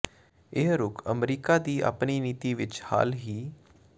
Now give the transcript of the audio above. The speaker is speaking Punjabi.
ਇਹ ਰੁਖ ਅਮਰੀਕਾ ਦੀ ਆਪਣੀ ਨੀਤੀ ਵਿੱਚ ਹਾਲ ਹੀ